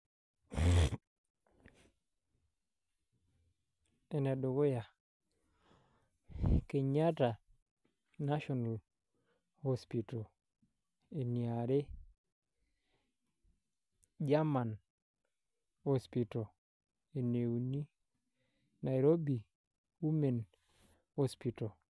Ene dukuya Kenyatta National Hospital, eniare German Hospital, ene uni Nairobi Women Hospital.